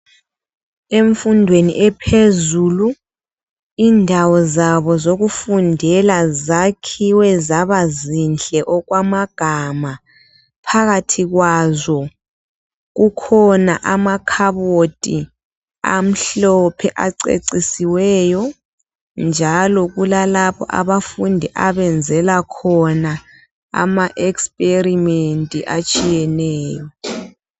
Emfundweni ephezulu indawo zabo zokufundela zakhiwe zaba zinhle okwamagama .Phakathi kwazo kukhona amakhabothi amhlophe acecicisiweyo .Njalo kulalapho abafundi abanzela khona ama experiment atshiyeneyo.